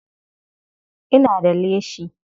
Ina da leshi.